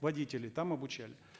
водителей там обучали